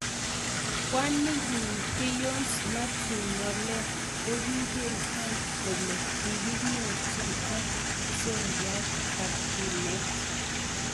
kwanit nyin beyonce mathew knowlea koging�any kole kaginyorchi ak seryat ap kinet